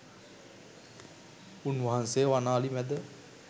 උන්වහන්සේ වන අලි මැද